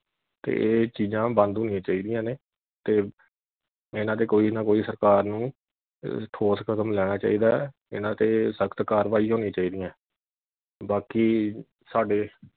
ਤੇ ਇਹ ਚੀਜਾਂ ਬੰਦ ਹੋਣੀਆਂ ਚਾਹੀਦੀਆਂ ਨੇ ਤੇ ਇਨ੍ਹਾਂ ਤੇ ਕੋਈ ਨਾ ਕੋਈ ਸਰਕਾਰ ਨੂੰ ਠੋਸ ਕਦਮ ਲੈਣਾ ਚਾਹੀਦਾ ਇਨ੍ਹਾਂ ਤੇ ਸਖਤ ਕਾਰਵਾਈ ਹੋਣੀਆਂ ਚਾਹੀਦੀਆਂ ਬਾਕੀ ਸਾਡੇ